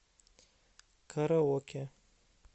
караоке